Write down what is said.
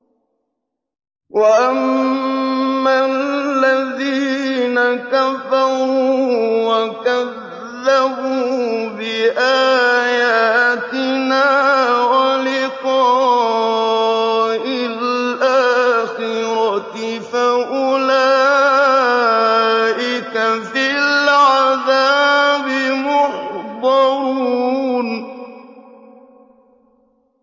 وَأَمَّا الَّذِينَ كَفَرُوا وَكَذَّبُوا بِآيَاتِنَا وَلِقَاءِ الْآخِرَةِ فَأُولَٰئِكَ فِي الْعَذَابِ مُحْضَرُونَ